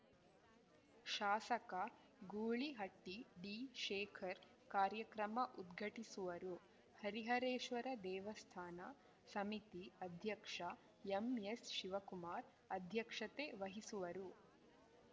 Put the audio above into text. ಶಾಸಕ ಗೂಳಿಹಟ್ಟಿಡಿಶೇಖರ್‌ ಕಾರ್ಯಕ್ರಮ ಉದ್ಘಾಟಿಸುವರು ಹರಿಹರೇಶ್ವರ ದೇವಸ್ಥಾನ ಸಮಿತಿ ಅಧ್ಯಕ್ಷ ಎಂಎಸ್‌ಶಿವಕುಮಾರ್‌ ಅಧ್ಯಕ್ಷತೆ ವಹಿಸುವರು